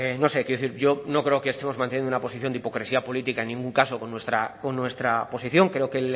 no sé quiero decir yo no creo que estemos mantenido una posición de hipocresía política en ningún caso con nuestra posición creo que